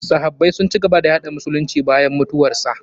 Sahabbai sun ci gaba da yaɗay musulunci bayan mutuwarsa.